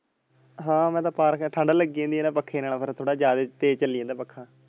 ਹਾਂ ਮੈਂ ਤੇ ਪਾ ਰੱਖਿਆ ਠੰਡ ਲੱਗੀ ਜਾਂਦੀ ਆ ਨਾ ਪੱਖੇ ਨਾਲ ਫਿਰ ਥੋੜੇ ਜਿਆਦਾ ਤੇਜ ਚਲੀ ਜਾਂਦਾ ਪੱਖਾ।